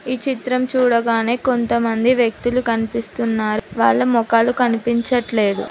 ఈ చిత్రం చూడగానే కొంతమంది వ్యక్తులు కనిపిస్తున్నారు వాళ్ళ మొఖాలు కనిపించట్లేదు.